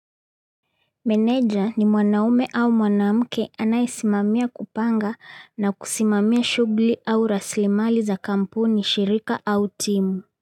Meneja ni mwanaume au mwanaamke anaisimamia kupanga na kusimamia shugli au raslimali za kampuni, shirika au timu.